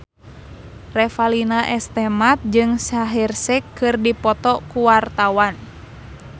Revalina S. Temat jeung Shaheer Sheikh keur dipoto ku wartawan